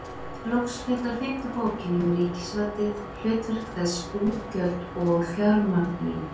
Loks fjallar fimmta bókin um ríkisvaldið, hlutverk þess, útgjöld og fjármögnun.